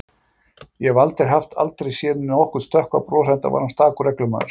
Ég held ég hafi aldrei séð honum stökkva bros, enda var hann stakur reglumaður.